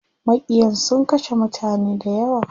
Maƙiyan sun kashe mutane dayawa.